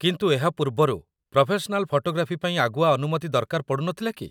କିନ୍ତୁ ଏହା ପୂର୍ବରୁ ପ୍ରଫେସନାଲ ଫଟୋଗ୍ରାଫି ପାଇଁ ଆଗୁଆ ଅନୁମତି ଦରକାର ପଡ଼ୁ ନଥିଲା କି?